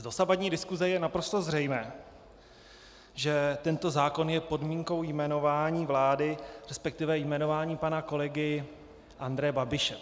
Z dosavadní diskuse je naprosto zřejmé, že tento zákon je podmínkou jmenování vlády, respektive jmenování pana kolegy Andreje Babiše.